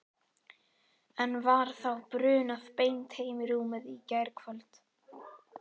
En var þá brunað beint heim í rúmið í gærkvöld?